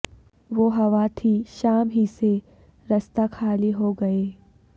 وہ ہوا تھی شام ہی سے رستے خالی ہو گئے